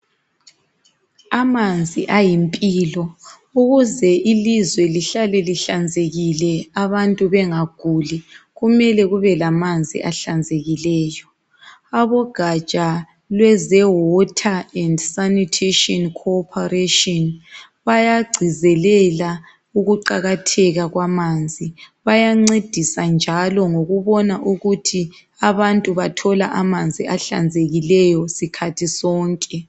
Amanzi ayimpilo. Ukuze ilizwe lihlale lihlanzekile abantu bengaguli kumele kubelamanzi ahlanzekileyo .Abogatsha lweze Water and Sanitation Corporation bayagcizelela ukuqakatheka kwamanzi. Bayancedisa njalo ngokubona ukuthi abantu bathola amanzi ahlanzekileyo sikhathi sonke